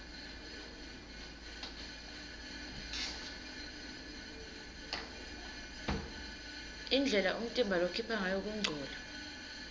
indlela umtimba lokhipha ngayo kungcola